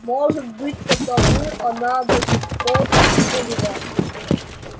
может быть потому она до сих пор ещё жива